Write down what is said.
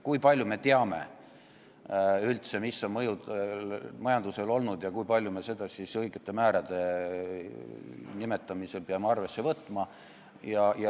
Kui palju me üldse teame, millised on mõjud majandusele olnud ja kui palju me seda määrade otsustamisel peame arvesse võtma?